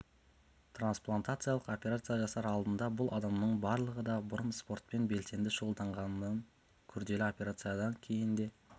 транспалантациялық операция жасар алдында бұл адамның барлығы да бұрын спортпен белсенді шұғылданған күрделі операциядын кейін де